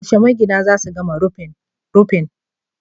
Yaushe magina za su gama rufin rufin?